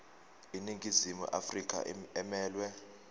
iningizimu afrika emelwe